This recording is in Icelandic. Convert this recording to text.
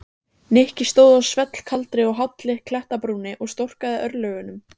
Nikki stóð á svellkaldri og hálli klettabrúninni og storkaði örlögunum.